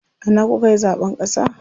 A ina kukayi zaɓen ƙasa?